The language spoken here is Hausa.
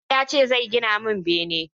Ibro ya ce zai gina mun bene